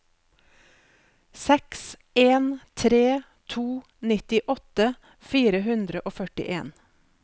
seks en tre to nittiåtte fire hundre og førtien